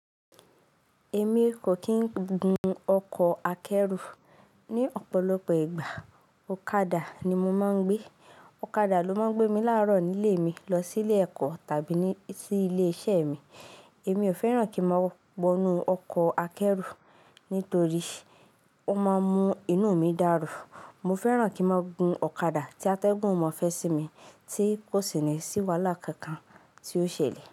Èmi kò kì ń gun ọkọ̀ akẹ́rù. Ni ọ̀pọ̀lọpọ̀ ìgbà, ọ̀kadà ni mo máa ń gbé. Ọ̀kadà ló máa ń gbé mi láàárọ̀ nílé mi lọ sílé ẹ̀kọ́ tàbí ní sí ilé-iṣẹ́ mi. Èmi ò fẹ́ràn kí ma wọ nu ọkọ̀ akẹ́rù nítorí ó máa ń mú inú mi dàrú. Mo fẹ́ràn kí ma gún ọ̀kadà tí atẹ́gùn ọmọ fẹ́ sí mi tí kò sì ní sí wàhálà kankan tí ó ṣẹlẹ̀